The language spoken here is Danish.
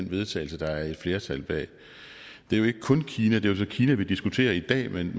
vedtagelse der er et flertal bag det er jo ikke kun kina men det er så kina vi diskuterer i dag men